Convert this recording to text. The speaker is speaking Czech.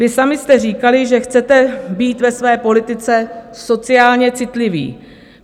Vy sami jste říkali, že chcete být ve své politice sociálně citliví.